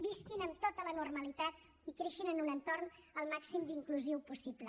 visquin amb tota la normalitat i creixin en un entorn al màxim d’inclusiu possible